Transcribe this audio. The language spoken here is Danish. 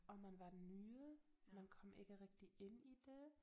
Og man var den nye man kom ikke rigtig ind i det